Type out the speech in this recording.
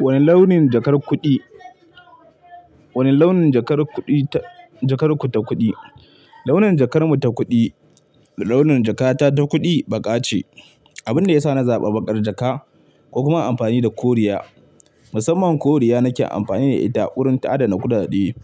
Wane launin jakar kuɗi, wane launin jakar kuɗi ta, jakar ku ta kuɗi? Launin jakar mu ta kuɗi, launin jakata ta kuɗi baƙa ce. Abin da ya sa na zaɓa baƙar jaka, ko kuma amfani da koriya. Musamman koriya nake amfani da ita a wurin ta'ada na kuɗaɗe.